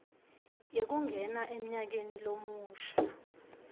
yekungena emnyakeni lomusha